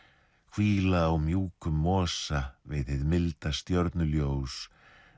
hvíla á mjúkum mosa við hið milda stjörnuljós